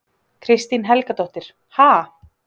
Kristín Helgadóttir: Ha?